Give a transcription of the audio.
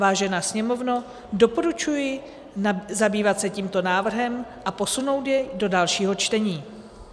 Vážená Sněmovno, doporučuji zabývat se tímto návrhem a posunout jej do dalšího čtení.